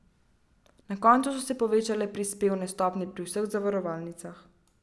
Na koncu so se povečale prispevne stopnje pri vseh zavarovalnicah.